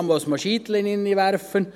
man muss Scheiter hineinwerfen.